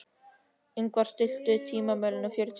Ingvar, stilltu tímamælinn á fjörutíu og sjö mínútur.